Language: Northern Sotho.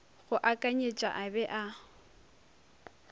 go akanyetša a be a